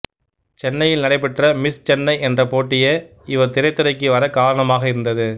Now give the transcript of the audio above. சென்னையில் நடைபெற்ற மிஸ் சென்னை என்ற போட்டியே இவர் திரைத்துறைக்கு வரக் காரணமாக இருந்தது